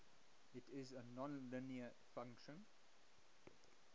it is a nonlinear function